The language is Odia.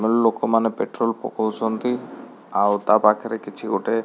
ଲୋକମାନେ ପେଟ୍ରୋଲ ପକଉଛନ୍ତି ଆଉ ତା ପାଖରେ କିଛିଗୋଟେ --